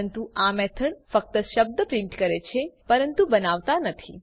પરંતુ આ મેથડ ફક્ત શબ્દ પ્રિન્ટ કરે છે પરંતુ બનાવતા નથી